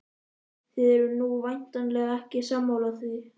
Þið eruð nú væntanlega ekki sammála því?